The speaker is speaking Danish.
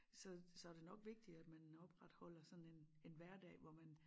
Så så det nok vigtigt at man opretholder sådan en en hverdag hvor man